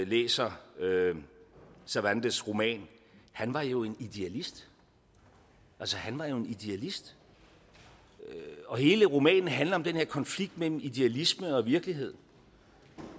læser cervantes roman han var jo en idealist altså han var jo en idealist og hele romanen handler om den her konflikt mellem idealisme og virkelighed en